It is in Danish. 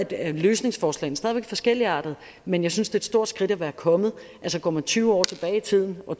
er løsningsforslagene stadig væk forskelligartede men jeg synes det er et stort skridt at være kommet altså går man tyve år tilbage i tiden og